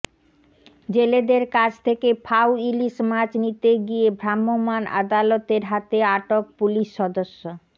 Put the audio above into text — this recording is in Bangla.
জেলেদের কাছ থেকে ফাও ইলিশ মাছ নিতে গিয়ে ভ্রাম্যমাণ আদালতের হাতে আটক পুলিশ সদস্য